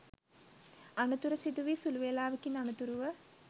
අනතුර සිදුවී සුළු වෙලාවකින් අනතුරුව